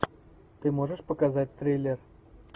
ты можешь показать триллер